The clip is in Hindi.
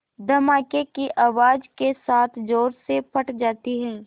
धमाके की आवाज़ के साथ ज़ोर से फट जाती है